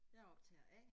Jeg optager A